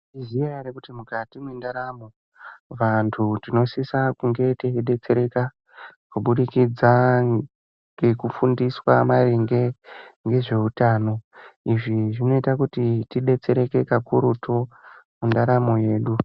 Munoziya here kuti mukati mwendaramo vantu tinosisa kunge teidetsereka kubudikidza ngekufundiswa maringe ngezveutano. Izvi zvinoita kuti tidetsereke kakurutu mundaramo yedu.